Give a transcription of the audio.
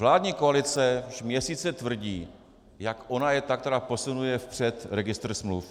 Vládní koalice už měsíce tvrdí, jak ona je ta, která posunuje vpřed registr smluv.